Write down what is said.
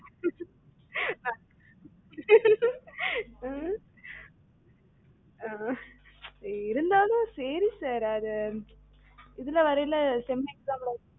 ம்ம் உம் ஆஹ் இருந்தாலும் சரி sir அது இதுலவரயில sem exam ல வர்ச்சில